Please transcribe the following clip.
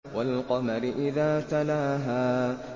وَالْقَمَرِ إِذَا تَلَاهَا